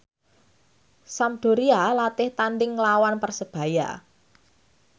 Sampdoria latih tandhing nglawan Persebaya